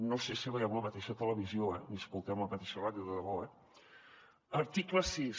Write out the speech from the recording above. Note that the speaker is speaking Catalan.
no sé si veiem la mateixa televisió ni escoltem la mateixa ràdio de debò eh article sis